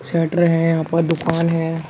Shutter है यहाँ पर दुकान है।